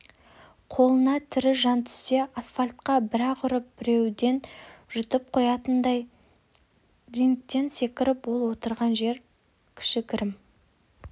қолына тірі жан түссе асфальтқа бір-ақ ұрып бітеудей жұтып қоятындай рингтен секіріп ол отырған жер кішігірім